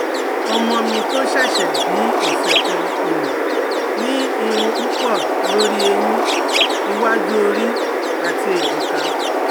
Ọmọ mi tó ṣẹ́ṣẹ̀ bíi ọ̀sẹ̀ kan um ní irun púpọ̀ lórí ẹ̀yìn, iwájú ori, àti ẹ̀jìká